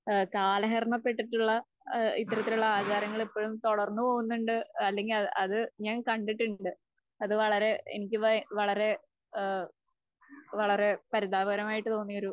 ഏഹ് കാലഹരണപ്പെട്ടിട്ടുള്ള ഇത്തരത്തിലുള്ള ആചാരങ്ങൾ ഇപ്പോഴും തുടർന്നുപോകുന്നുണ്ട് അല്ലെങ്കിൽ അത് ഞാൻ കണ്ടിട്ടുണ്ട്. അത് വളരെ എനിക്ക് വളരെ ഏഹ് പരിതാപകരമായിട്ട് തോന്നി ഇങ്ങനെയൊരു